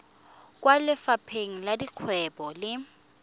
kwa lefapheng la dikgwebo le